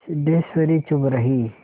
सिद्धेश्वरी चुप रही